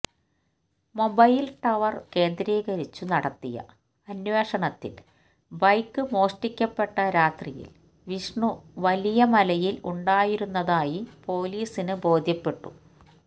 mobile tower കേന്ദ്രീകരിച്ചു നടത്തിയ അന്വേഷണത്തില് ബൈക്ക് മോഷ്ടിക്കപ്പെട്ട രാത്രിയില് വിഷ്ണു വലിയമലയില് ഉണ്ടായിരുന്നതായി പൊലിസിന് ബോധ്യപ്പെട്ടു